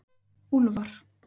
Úlfar